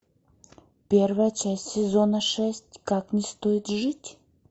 первая часть сезона шесть как не стоит жить